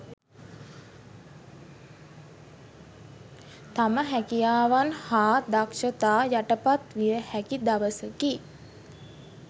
තම හැකියාවන් හා දක්ෂතා යටපත් විය හැකි දවසකි